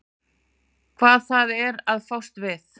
Hvað það er að fást við.